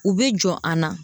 U bɛ jɔ an na